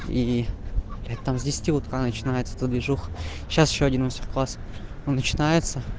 и там с десяти утра начинается эта движуха сейчас ещё один мастер класс начинается